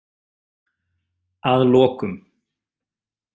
Að lokum